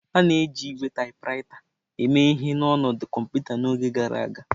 A na-eji ígwè taịpụraịta eme ihe n'ọnọdụ kọmputa n'oge gara aga.